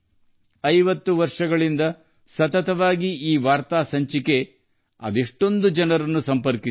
50 ವರ್ಷಗಳಿಂದ ಈ ವಾರ್ತಾ ಪ್ರಸಾರವು ಅನೇಕ ಜನರನ್ನು ಸಂಸ್ಕೃತ ಭಾಷೆಗೆ ಸಂಪರ್ಕಿಸಿದೆ